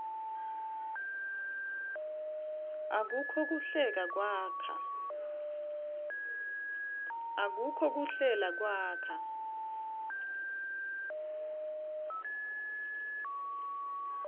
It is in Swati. akukho kuhlela kwakha